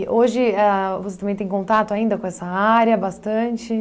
hoje a você também tem contato ainda com essa área, bastante?